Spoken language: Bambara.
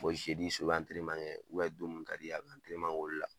Bɔn zedi su i bi antɛrɛneman kɛ ubɛn don min ka d'i ye a bi antɛrɛneman kɛ ola